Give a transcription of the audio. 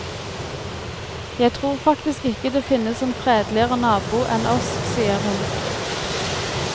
Jeg tror faktisk ikke det finnes en fredeligere nabo enn oss, sier hun.